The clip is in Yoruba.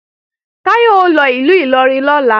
Táyọ̀ ó lọ ìlú Ìlọrin lọ́la